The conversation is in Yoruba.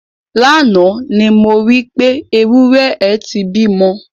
Lánàá ni mo rí pé, ewúrẹ́ ẹ ti bímọ.